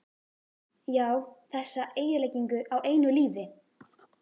Já, þessa eyðileggingu á einu lífi.